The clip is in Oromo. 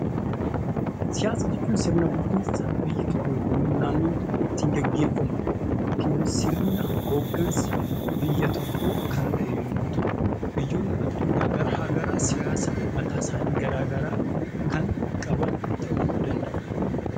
Siyaasa jechuun sirna bulchiinsa biyyi tokko, naannoon tokko ittiin gaggeeffamu, yookiin immoo sirna hoggansa biyya tokkoo kan ta'e yammuu ta'u; biyyoonni addunyaa kanaa garaa garaa siyaasa garaa garaa kan mataa isaanii kan qaban ta'uu danda'a.